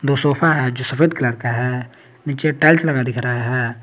दो सोफा है जो सफेद कलर का है नीचे टाइल्स लगा दिख रहा है।